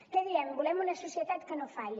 què diem volem una societat que no falli